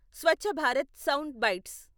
Swachh Bharat sound bytes..